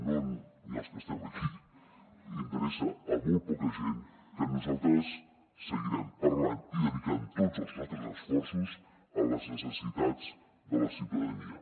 no ni als que estem aquí interessa a molt poca gent que nosaltres seguirem parlant i dedicant tots els nostres esforços a les necessitats de la ciutadania